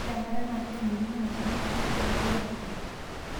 Ore enkare naa kebukokini imashinini naasishoreki meiropija.